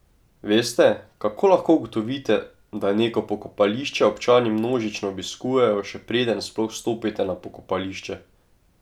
Veste, kako lahko ugotovite, da neko pokopališče občani množično obiskujejo, še preden sploh stopite na pokopališče?